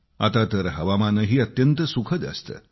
आता तर हवामानही अत्यंत सुखद असते